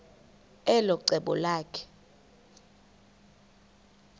elo cebo lakhe